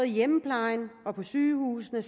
i hjemmeplejen og på sygehusene og